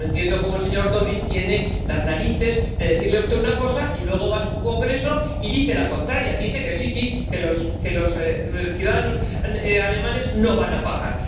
Porque no entiendo cómo el señor Dobrindt tiene las narices de decirle a usted una cosa y luego va a su Congreso y dice la contraria. Dice que sí, sí, que los ciudadanos alemanes no van a pagar.